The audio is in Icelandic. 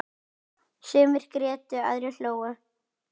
Sumir grétu, aðrir hlógu.